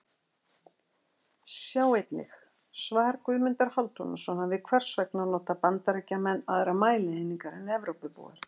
Sjá einnig: Svar Guðmundar Hálfdanarsonar við Hvers vegna nota Bandaríkjamenn aðrar mælieiningar en Evrópubúar?